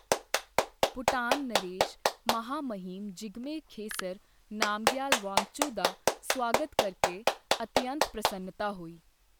ਭੂਟਾਨ ਨਰੇਸ਼ ਮਹਾਮਹਿਮ ਜਿਗਮੇ ਖੇਸਰ ਨਾਮਗਯਾਲ ਵਾਂਗਚੁਕ ਦਾ ਸੁਆਗਤ ਕਰਕੇ ਅਤਿਅੰਤ ਪ੍ਰਸੰਨਤਾ ਹੋਈ।